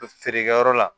Feerekɛyɔrɔ la